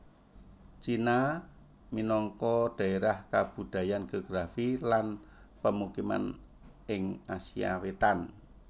Cina minangka dhaérah kabudayan geografi lan pemukiman ing Asia Wétan